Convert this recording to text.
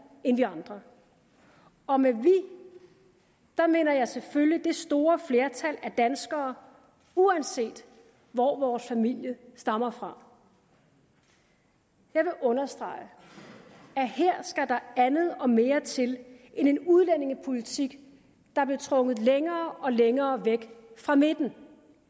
end vi andre og med vi mener jeg selvfølgelig det store flertal af danskere uanset hvor vores familie stammer fra jeg vil understrege at her skal der andet og mere til end en udlændingepolitik der blev trukket længere og længere væk fra midten